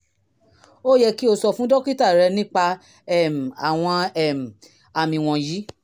ó yẹ kí o sọ fún dókítà rẹ nípa um àwọn um àmì wọ̀nyí